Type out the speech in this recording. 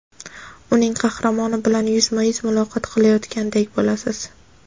uning qahramoni bilan yuzma-yuz muloqot qilayotganday bo‘lasiz.